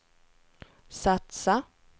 satsa